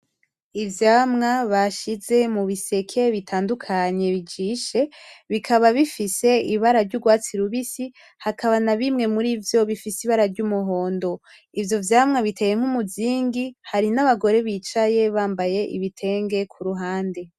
Ivyamwa bashize mubiseke bitandukanye bijishe , bikaba bifise ibara ry'urwatsi rubisi hakaba na bimwe mur'ivyo bifise ibara ry'umuhondo ; ivyo vyamwa biteye nk'umuzingi Hari n'abagore bicaye bambaye ibitenge kuruhande.